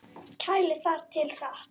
Kælið þar til hart.